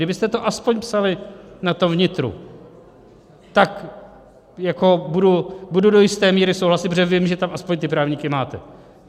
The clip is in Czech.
Kdybyste to aspoň psali na tom vnitru, tak budu do jisté míry souhlasit, protože vím, že tam aspoň ty právníky máte.